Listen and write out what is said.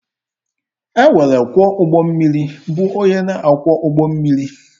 E nwere ọkwọ ụgbọ mmiri bụ onye na akwọ ụgbọ mmiri.